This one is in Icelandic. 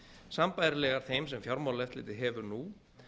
sambærilegar þeim sem fjármálaeftirlitið hefur nú